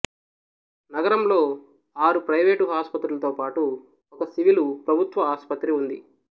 నగరంలో ఆరు ప్రైవేటు ఆసుపత్రులతో పాటు ఒక సివిలు ప్రభుత్వ ఆసుపత్రి ఉంది